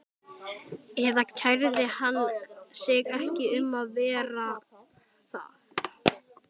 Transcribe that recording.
Eða kærði hann sig ekki um að vera það?